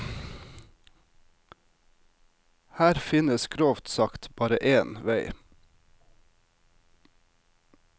Her finnes grovt sagt bare én vei.